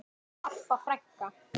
Harpa frænka.